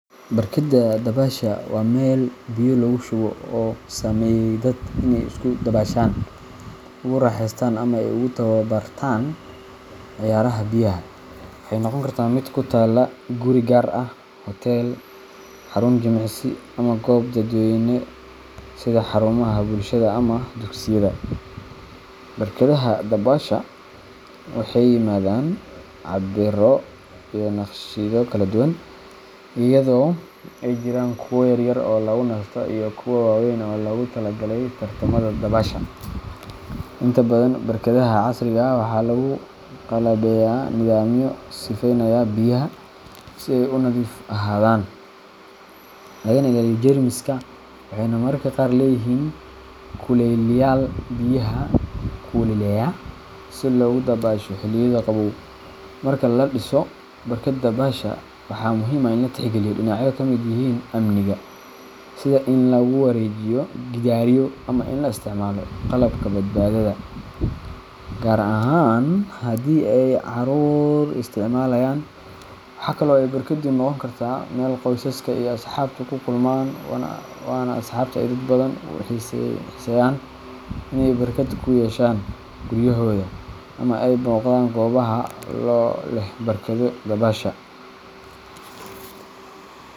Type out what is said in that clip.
Barkada dabaasha waa meel biyo lagu shubo oo loo sameeyay dadka si ay ugu dabaashaan, ugu raaxaystaan ama ay ugu tababartaan ciyaaraha biyaha. Waxay noqon kartaa mid ku taalla guri gaar ah, hoteel, xarun jimicsi, ama goob dadweyne sida xarumaha bulshada ama dugsiyada. Barkadaha dabaasha waxay yimaadaan cabbirro iyo naqshado kala duwan, iyadoo ay jiraan kuwa yaryar oo lagu nasto iyo kuwa waaweyn oo loogu talagalay tartamada dabaasha. Inta badan barkadaha casriga ah waxaa lagu qalabeeyaa nidaamyo sifeynaya biyaha si ay u nadiif ahaadaan, lagana ilaaliyo jeermiska, waxayna mararka qaar leeyihiin kulayliyayaal biyaha kululeeya si loogu dabaasho xilliyada qabow. Marka la dhisayo barkad dabaasha, waxaa muhiim ah in la tixgeliyo dhinacyo ay ka mid yihiin amniga – sida in lagu wareejiyo gidaaryo ama in la isticmaalo qalabka badbaadada, gaar ahaan haddii ay carruur isticmaalayaan. Waxaa kale oo ay barkaddu noqon kartaa meel qoysaska iyo asxaabtu ku kulmaan, waana sababta ay dad badan u xiiseeyaan in ay barkad ku yeeshaan guryahooda ama ay booqdaan goobaha leh barkado dabaasha.